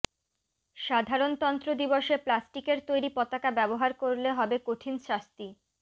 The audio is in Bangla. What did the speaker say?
সাধারণতন্ত্র দিবসে প্লাস্টিকের তৈরি পতাকা ব্যবহার করলে হবে কঠিন শাস্তি